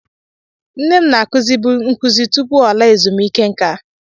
Nne m na-akuzibu nkụzi tupu ọ laa ezumike nká.